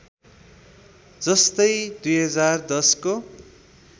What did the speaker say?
जस्तै २०१० को